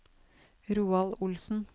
Roald Olsen